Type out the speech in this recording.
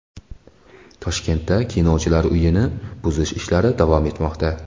Toshkentda Kinochilar uyini buzish ishlari davom etmoqda.